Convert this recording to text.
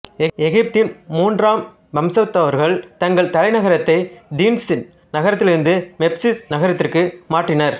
எகிப்தின் மூன்றாம் வம்சத்தவர்கள் தங்கள் தலைநகரத்தை தினீஸ் நகரத்திலிருந்து மெம்பிஸ் நகரத்திற்கு மாற்றினர்